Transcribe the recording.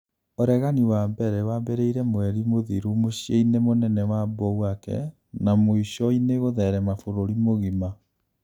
ũregani wa mbere wambĩrĩirie mweri mũthiru mũciĩ-inĩ mũnene wa Bouake na mũico-inĩ gũtherema bũrũri mũgima